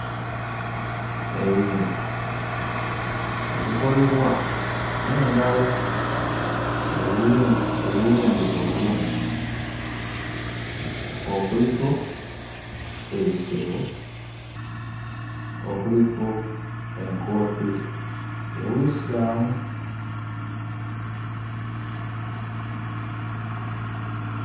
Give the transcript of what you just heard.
Ebintu ebikolebwa n'engalo ebiwu ebiwunde obulungi, okuliko ebisero, okuliko enkoofiira ey'Obuyisiramu.